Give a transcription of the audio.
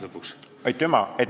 Aitüma!